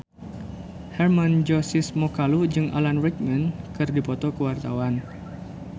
Hermann Josis Mokalu jeung Alan Rickman keur dipoto ku wartawan